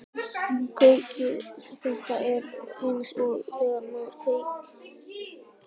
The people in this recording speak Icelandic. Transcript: Þetta er eins og þegar maður kveik